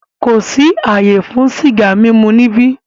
Kò sí àyè fún sìgá mímu níbí!